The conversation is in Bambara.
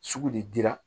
Sugu de dira